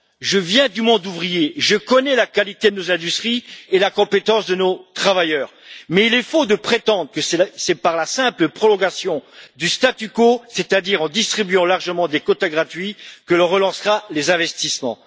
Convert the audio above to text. Je viens du monde ouvrier, je connais la qualité de nos industries et la compétence de nos travailleurs, mais il est faux de prétendre que c'est par la simple prolongation du statu quo, c'est à dire en distribuant largement des quotas gratuits, que l'on relancera les investissements.